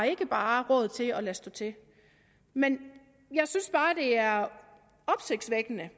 ikke har råd til bare at lade stå til men jeg synes bare det er opsigtsvækkende